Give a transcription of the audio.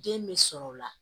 Den bɛ sɔrɔ o la